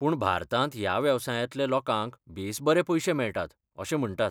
पूण भारतांत ह्या वेवसायांतल्या लोकांक बेस बरे पयशे मेळटात, अशें म्हंटात.